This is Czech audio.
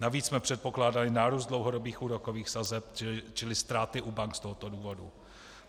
Navíc jsme předpokládali nárůst dlouhodobých úrokových sazeb, čili ztráty u bank z tohoto důvodu.